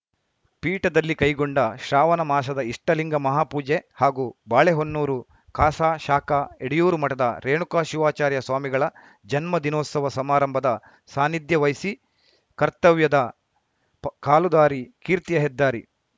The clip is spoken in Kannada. ಪೀಠದಲ್ಲಿ ಕೈಗೊಂಡ ಶ್ರಾವಣ ಮಾಸದ ಇಷ್ಟಲಿಂಗ ಮಹಾಪೂಜೆ ಹಾಗೂ ಬಾಳೆಹೊನ್ನೂರು ಖಾಸಾ ಶಾಖಾ ಎಡೆಯೂರು ಮಠದ ರೇಣುಕ ಶಿವಾಚಾರ್ಯ ಸ್ವಾಮಿಗಳ ಜನ್ಮ ದಿನೋತ್ಸವ ಸಮಾರಂಭದ ಸಾನ್ನಿಧ್ಯ ವಹಿಸಿ ಕರ್ತವ್ಯದ ಪ ಕಾಲುದಾರಿ ಕೀರ್ತಿಯ ಹೆದ್ದಾರಿ